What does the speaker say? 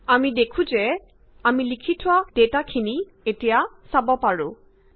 আমি দেখো যে পোন প্ৰথমে লিখি থুৱা সকলোখিনি ডেটা এতিয়া চাব পাৰিছো